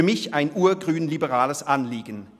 Für mich ist dies ein urgrünliberales Anliegen.